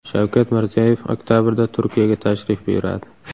Shavkat Mirziyoyev oktabrda Turkiyaga tashrif buyuradi.